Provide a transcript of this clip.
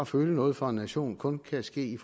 føle noget for en nation kun kan ske